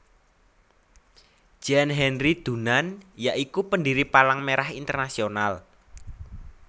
Jean Henry Dunant ya iku pendiri Palang Merah Internasional